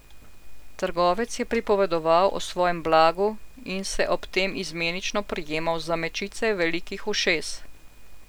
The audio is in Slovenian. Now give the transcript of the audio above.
Trgovec je pripovedoval o svojem blagu in se ob tem izmenično prijemal za mečice velikih ušes.